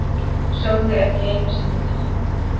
Sögðu ekki einusinni takk!